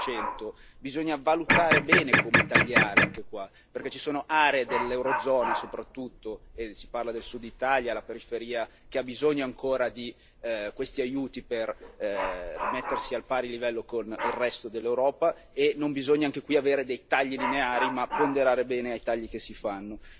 7 Bisogna valutare bene come tagliare, anche qua, perché ci sono aree dell'eurozona soprattutto si parla del Sud Italia, della periferia che hanno ancora bisogno di questi aiuti per mettersi a pari livello con il resto dell'Europa e non bisogna, anche qui, avere dei tagli lineari ma ponderare bene i tagli che si fanno.